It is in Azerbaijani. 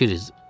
Di, Kiriz.